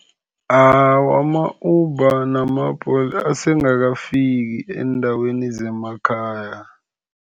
Awa, ama-Uber nama-Bolt asengakafiki eendaweni zemakhaya.